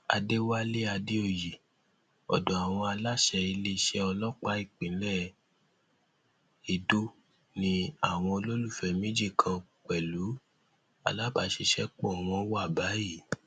àdẹwálé àdèoyè ọdọ àwọn aláṣẹ iléeṣẹ ọlọpàá ìpínlẹ edo ni àwọn olólùfẹ méjì kan pẹlú alábàṣiṣẹpọ wọn wà báyìí